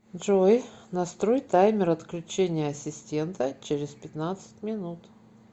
джой настрой таймер отключения ассистента через пятнадцать минут